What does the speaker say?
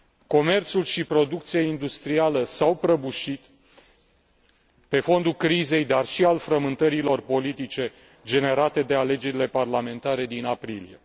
Comerțul și producția industrială s au prăbușit pe fondul crizei, dar și al frământărilor politice generate de alegerile parlamentare din aprilie.